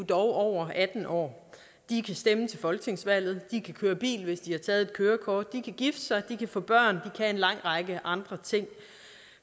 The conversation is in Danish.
dog over atten år de kan stemme til folketingsvalget de kan køre bil hvis de har taget kørekort de kan gifte sig de kan få børn kan en lang række andre ting